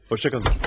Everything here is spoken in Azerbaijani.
Xoşça qalın.